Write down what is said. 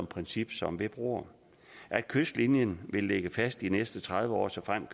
princip som ved broer kystlinjen vil ligge fast de næste tredive år såfremt